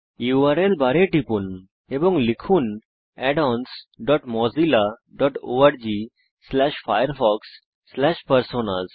URL বারে টিপুন এবং লিখুন addonsmozillaorgfirefoxপারসোনাস